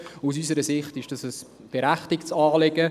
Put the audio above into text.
Aus unserer Sicht ist das ein berechtigtes Anliegen.